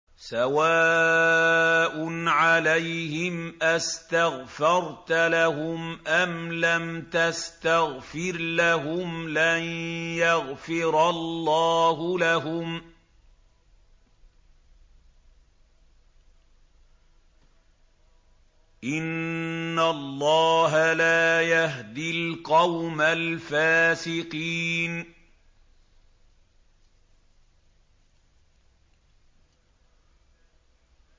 سَوَاءٌ عَلَيْهِمْ أَسْتَغْفَرْتَ لَهُمْ أَمْ لَمْ تَسْتَغْفِرْ لَهُمْ لَن يَغْفِرَ اللَّهُ لَهُمْ ۚ إِنَّ اللَّهَ لَا يَهْدِي الْقَوْمَ الْفَاسِقِينَ